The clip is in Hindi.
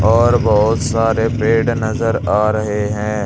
और बहुत सारे पेड़ नजर आ रहे हैं।